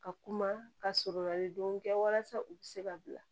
Ka kuma ka sɔrɔ ni don kɛ walasa u bɛ se ka bila